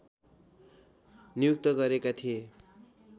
नियुक्त गरेका थिए